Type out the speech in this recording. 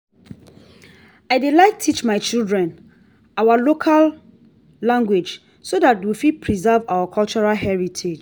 i dey like teach my children our local language so that we fit preserve our cultural heritage